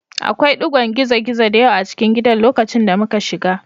Akwai ɗigon gizo-gizo da yawa a cikin gidan lokacin da muka shiga